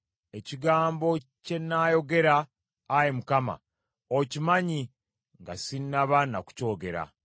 Ekigambo kye nnaayogera, Ayi Mukama , okimanya nga sinnaba na kukyogera.